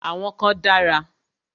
Àwọn kan dára.